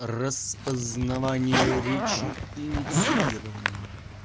распознавание речи инициировано